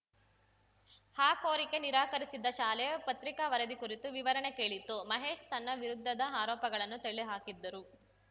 ಆ ಕೋರಿಕೆ ನಿರಾಕರಿಸಿದ್ದ ಶಾಲೆ ಪತ್ರಿಕಾ ವರದಿ ಕುರಿತು ವಿವರಣೆ ಕೇಳಿತ್ತು ಮಹೇಶ್‌ ತನ್ನ ವಿರುದ್ಧದ ಆರೋಪಗಳನ್ನು ತಳ್ಳಿಹಾಕಿದ್ದರು